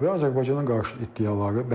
və Azərbaycana qarşı iddiaları bərpa etməkdir.